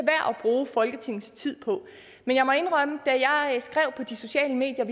bruge folketingets tid på men jeg må indrømme at da jeg skrev på de sociale medier